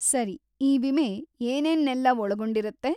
ಸರಿ, ಈ ವಿಮೆ ಏನೇನ್ನೆಲ್ಲ ಒಳಗೊಂಡಿರತ್ತೆ?